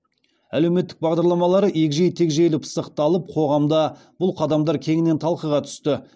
әлеуметтік бағдарламалары егжей тегжейлі пысықталып қоғамда бұл қадамдар кеңінен талқыға түсті